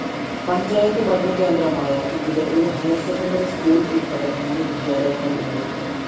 പഞ്ചായത്ത് ഭരണകേന്ദ്രമായ ഇവിടെ ഒരു ഹൈർ സെക്കൻഡറി സ്കൂൾ ഉൾപ്പെടെ മൂന്ന് വിദ്യാലയങ്ങൾ ഉണ്ട്.